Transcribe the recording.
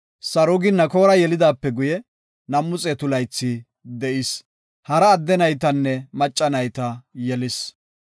Sarugi Nakoora yelidaape guye, 200 laythi de7is. Hara adde naytanne macca nayta yelis.